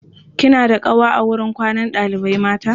kina da ƙawa a wurin kwanan ɗalibai mata?